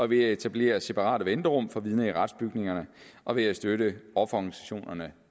ved at etablere separate venterum for vidner i retsbygningerne og ved at støtte offerorganisationerne